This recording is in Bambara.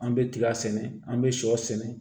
An bɛ tiga sɛnɛ an bɛ sɔ sɛnɛ